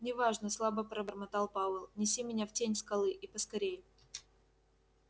не важно слабо пробормотал пауэлл неси меня в тень скалы и поскорй